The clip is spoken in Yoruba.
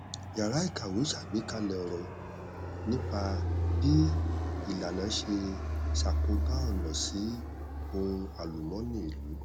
yàrá ìkàwé ṣàgbékalẹ ọrọ nípa bí ìlànà ṣe ṣàkóbá ọnà sí ohun alùmọnì ìlú